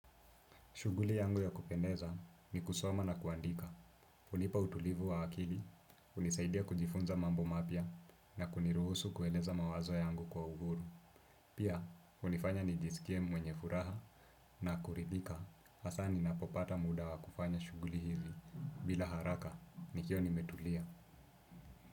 Shughuli yangu ya kupendeza ni kusoma na kuandika. Hunipa utulivu wa akili, hunisaidia kujifunza mambo mapya na kuniruhusu kueleza mawazo yangu kwa uhuru. Pia, hunifanya nijisikie mwenye furaha na kuridhika. Hasa ninapopata muda wa kufanya shughuli hizi bila haraka nikiwa nimetulia.